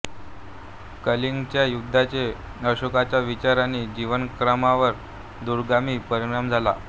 कलिंगच्या युद्धाचे अशोकाच्या विचार आणि जीवनक्रमावर दूरगामी परिणाम झाले